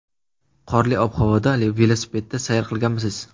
Qorli ob-havoda velosipedda sayr qilganmisiz?